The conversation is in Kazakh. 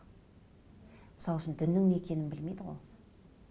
мысал үшін діннің не екенін білмейді ғой